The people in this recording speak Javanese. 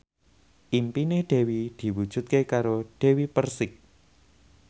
impine Dewi diwujudke karo Dewi Persik